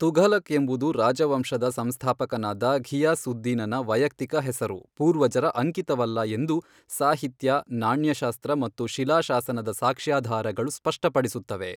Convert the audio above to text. ತುಘಲಕ್ ಎಂಬುದು ರಾಜವಂಶದ ಸಂಸ್ಥಾಪಕನಾದ ಘಿಯಾಸ್ ಉದ್ ದೀನನ ವೈಯಕ್ತಿಕ ಹೆಸರು, ಪೂರ್ವಜರ ಅಂಕಿತವಲ್ಲ ಎಂದು ಸಾಹಿತ್ಯ, ನಾಣ್ಯಶಾಸ್ತ್ರ ಮತ್ತು ಶಿಲಾಶಾಸನದ ಸಾಕ್ಷ್ಯಾಧಾರಗಳು ಸ್ಪಷ್ಟಪಡಿಸುತ್ತವೆ.